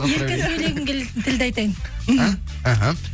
еркін сөйлегім келетін тілді айтайын мхм іхі